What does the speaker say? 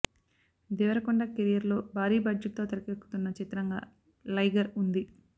Devarakonda career లో భారీ budget తో తెరకెక్కుతున్న చిత్రంగా లైగర్ ఉంది